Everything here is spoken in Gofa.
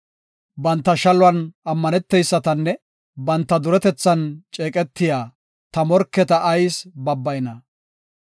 Banta shaluwan ammaneteysatanne banta duretethan ceeqetiya ta morketa ayis babbayna?